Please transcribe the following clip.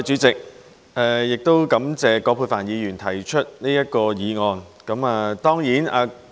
主席，感謝葛珮帆議員提出這項議案。